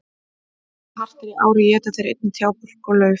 Ef hart er í ári éta þeir einnig trjábörk og lauf.